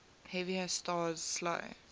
heavier stars slow